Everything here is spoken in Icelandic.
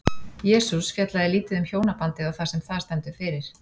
Jesús fjallaði lítið um hjónabandið og það sem það stendur fyrir.